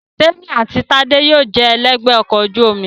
Témì àti Tádé yóò jẹ ẹlẹ́gbẹ̀ẹ́ ọkọ̀ ojú omi